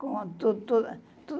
Com tu tu tudo.